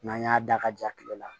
N'an y'a da ka ja kile la